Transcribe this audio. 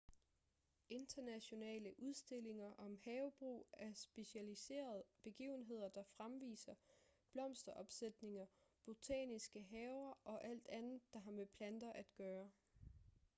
internationale udstillinger om havebrug er specialiserede begivenheder der fremviser blomsteropsætninger botaniske haver og alt andet der har med planter at gøre